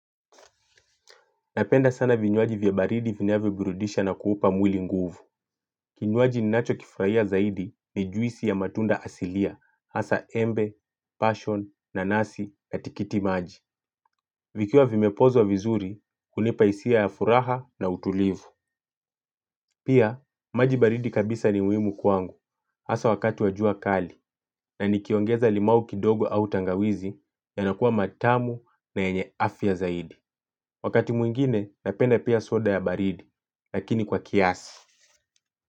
Napenda sana vinywaji vya baridi vinavyo burudisha na kuupa mwili nguvu. Kinywaji ninacho kifraia zaidi ni juisi ya matunda asilia, hasa embe, passion, nanasi, katikiti maji. Vikiwa vimepozwa vizuri, hunipa hisia ya furaha na utulivu. Pia, maji baridi kabisa ni muimu kwangu, hasa wakati wa jua kali, na nikiongeza limau kidogo au tangawizi yanakua matamu na yenye afya zaidi. Wakati mwingine napenda pia soda ya baridi. Lakini kwa kiasi.